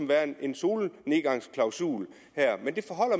være en solnedgangsklausul men